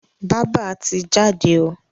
Bába ti jáde o.